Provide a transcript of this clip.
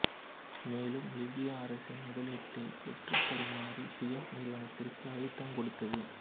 மேலும் லிபிய அரசின் முதலீட்டை பெற்றுத் தருமாறு ஃபியட் நிறுவனத்திற்கு அழுத்தம் கொடுத்தது